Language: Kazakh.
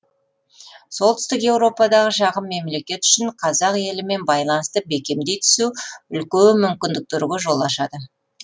солтүстік еуропадағы шағын мемлекет үшін қазақ елімен байланысты бекемдей түсу үлкен мүмкіндіктерге жол ашады